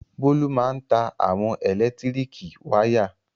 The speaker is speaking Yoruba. Bólú máa ń ta àwọn ẹ̀lẹ́tíríkì wayà.